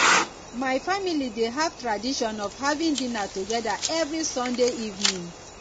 my family dey have tradition of having dinner together every sunday evening